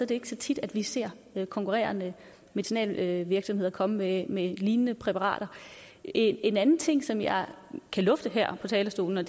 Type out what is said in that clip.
det ikke så tit at vi ser konkurrerende medicinalvirksomheder komme med med lignende præparater en anden ting som jeg kan lufte her på talerstolen er